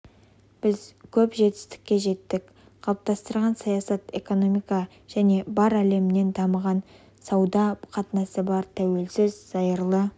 біз көп жетістіктерге жеттік қалыптастырған саясат экономика және бар әлеммен дамыған сауда қатынасы бар тәуелсіз зайырлы